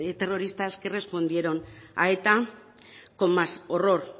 terroristas que respondieron a eta con más horror